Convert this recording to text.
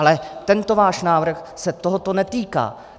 Ale tento váš návrh se tohoto netýká.